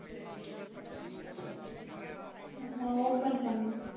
இப்போ Open பன்னு